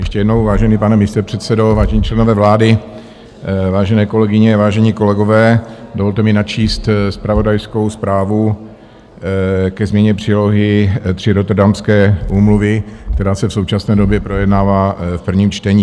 Ještě jednou: vážený pane místopředsedo, vážení členové vlády, vážené kolegyně, vážení kolegové, dovolte mi načíst zpravodajskou zprávu ke změně přílohy III Rotterdamské úmluvy, která se v současné době projednává v prvním čtení.